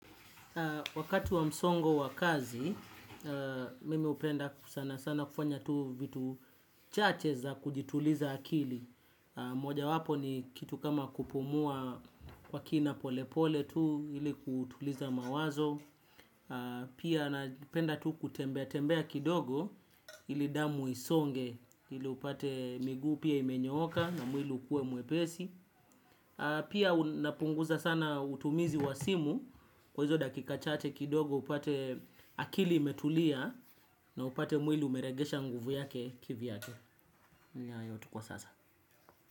Wakati wa msongo wa kazi, mimi hupenda sana sana kufanya tu vitu chache za kujituliza akili. Moja wapo ni kitu kama kupumua kwa kina pole pole tu, ili kutuliza mawazo. Pia napenda tu kutembea tembea kidogo ili damu isonge ili upate miguu pia imenyoka na mwili ukue mwepesi. Pia napunguza sana utumizi wa simu. Kwa hizo dakika chache kidogo upate akili imetulia. Na upate mwili umerejesha nguvu yake kivyake. Ni hayo tu kwa sasa.